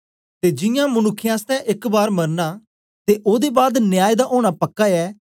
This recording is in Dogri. ते जियां मनुक्खें आसतै एक बार मरना ते ओदे बाद न्याय दा ओना पक्का ऐ